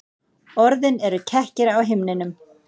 Orðin eru kekkir á himninum.